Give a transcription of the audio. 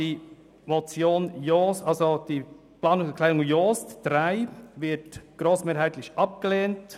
Die Planungserklärung 3 wird grossmehrheitlich abgelehnt.